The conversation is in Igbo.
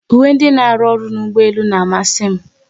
Uwe ndị n'aru ọrụ n'ụgbọelu n'amasi m